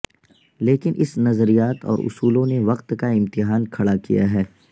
لیکن اس نظریات اور اصولوں نے وقت کا امتحان کھڑا کیا ہے